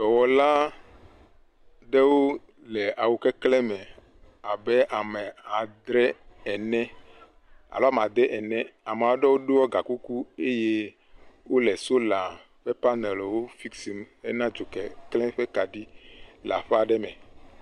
Dɔwɔla ɖewo le awu kekle me abe ame adre ene alo ame ade ene. Ame aɖewo ɖɔ gakuku eye wole sola ƒe panelwo fiksim hena dzokekle ƒe kaɖi le aƒe aɖe me.